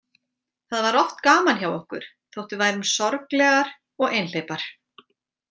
Það var oft gaman hjá okkur þótt við værum sorglegar og einhleypar.